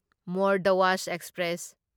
more Dhwaj express